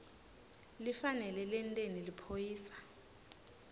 lifanele lenteni liphoyisa